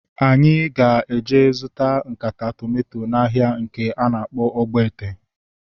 Anyị ga-eje zụta nkata tomato n'ahia nke a na-akpọ Ogbete